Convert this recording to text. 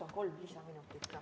Võtan kolm lisaminutit ka.